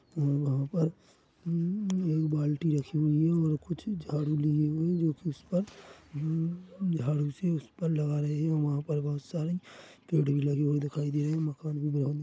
और वहाँ पर उम एक बाल्टी रखी हुई हैं और कुछ झाड़ू लिए हुए हैं जो कि उस पर मम झाड़ू से उस पर लगा रहें हैं और वहाँ पर बहुत सारे पेड़ भी लगी हुई दिखाई दे रही हैं मकान भी बना हुआ--